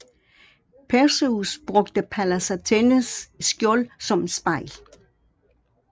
Perseus brugte Pallas Athenes skjold som spejl